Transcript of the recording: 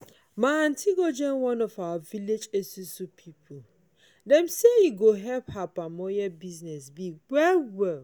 my aunty go join one of our village esusu pipo dem say e go help her palm oil business big well well.